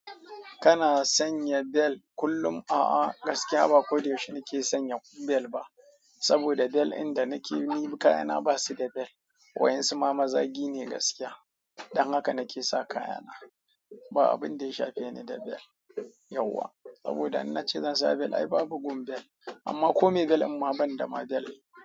Kana sanya bel kullum? A'a, gaskiya ba ko da yaushe nake sanya bel ba. Saboda bel inda nake ni kayana ba su da bel. Wa'yansu ma mazagi ne gaskiya. Don haka nake sa kayana. Ba abin da ya shafe ni da bel yauwa. Saboda in na ce zan sa bel ai babu gun bel. Amma kome bel amma ban da ma bel.